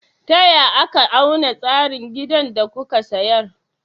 Taya aka auna tsayin gidan da kuka sayar?